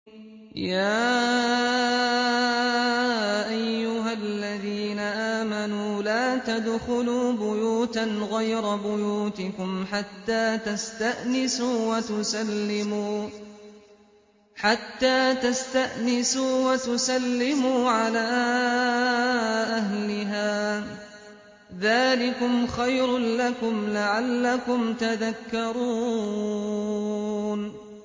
يَا أَيُّهَا الَّذِينَ آمَنُوا لَا تَدْخُلُوا بُيُوتًا غَيْرَ بُيُوتِكُمْ حَتَّىٰ تَسْتَأْنِسُوا وَتُسَلِّمُوا عَلَىٰ أَهْلِهَا ۚ ذَٰلِكُمْ خَيْرٌ لَّكُمْ لَعَلَّكُمْ تَذَكَّرُونَ